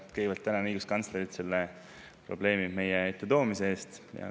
Ma kõigepealt tänan õiguskantslerit selle probleemi meie ette toomise eest.